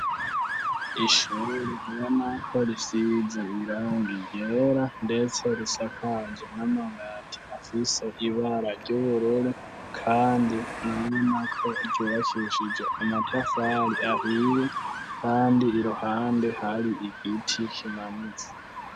Ishure ubonako risize irangi ryera ndetse risakaje n'amabati afise ibara ry'ubururu kandi ubona ko ryubakishije amatafari ahiye kandi iruhande hari igiti kimanitse.